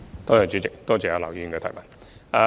代理主席，多謝劉議員的補充質詢。